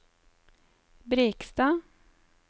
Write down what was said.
Brekstad